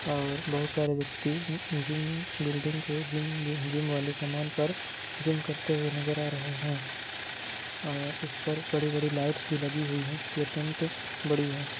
और बहुत सारे व्यक्ति जिम बिल्डिंग के जिम जिम वाले सामान पर जिम करते हुए नजर आ रहे है और इस पर बड़ी-बड़ी लाइट्स भी लगी हुई है जो कि अत्यंत बड़ी है।